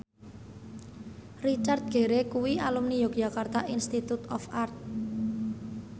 Richard Gere kuwi alumni Yogyakarta Institute of Art